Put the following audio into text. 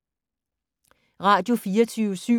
Radio24syv